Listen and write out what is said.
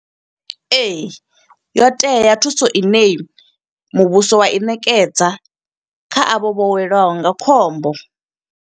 Ee, yo tea thuso ine muvhuso wa i ṋekedza, kha avho vho weliwaho nga khombo.